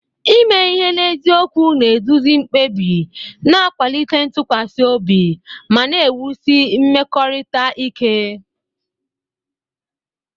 Ime ihe n'eziokwu na-eduzi mkpebi, na-akwalite ntụkwasị obi, ma na-ewusi mmekọrịta ike.